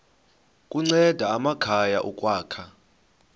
kunceda amakhaya ukwakha